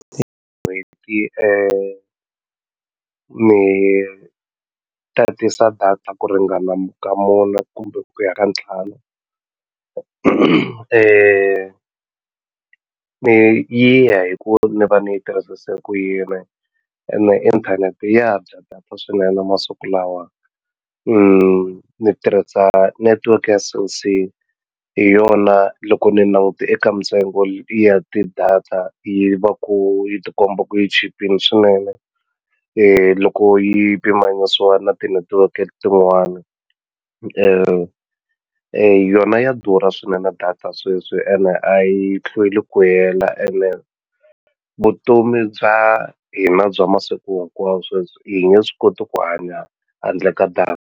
N'hweti ni tatisa data ku ringana ka mune kumbe ku ya ka ntlhanu leyi yi ya hi ku ni va ni yi tirhisise ku yini ene inthanete ya dya data swinene masiku lawa ni tirhisa netiweke ya Cell C hi yona loko ni langute eka mintsengo ya ti-data yi va ku yi tikomba ku yi chipile swinene loko yi pimanyisiwa na tinetiweke tin'wana yona ya durha swinene data sweswi ene a yi hlweli ku hela ene vutomi bya hina bya masiku hinkwawo sweswi hi nge swi koti ku hanya handle ka data.